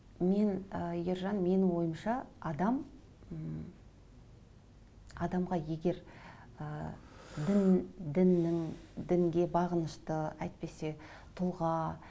мен ы ержан менің ойымша адам м адамға егер ы дін діннің дінге бағынышты әйтпесе тұлға